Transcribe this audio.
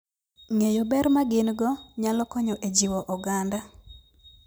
Ng'eyo ber ma gin - go nyalo konyo e jiwo oganda.